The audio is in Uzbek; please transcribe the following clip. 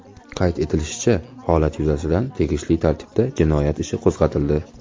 Qayd etilishicha, holat yuzasidan tegishli tartibda jinoyat ishi qo‘zg‘atildi.